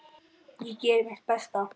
Ég geri mitt besta.